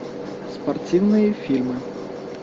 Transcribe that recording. спортивные фильмы